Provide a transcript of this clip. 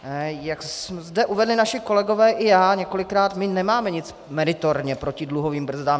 Jak zde uvedli naši kolegové i já několikrát, my nemáme nic meritorně proti dluhovým brzdám.